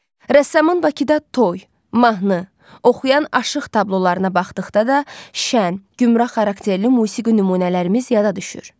Rəssamın Bakıda Toy, mahnı, Oxuyan Aşıq tablolarına baxdıqda da şən, gümrah xarakterli musiqi nümunələrimiz yada düşür.